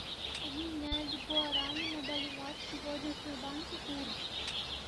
обменять гуарани на боливар сегодня в сбербанке курс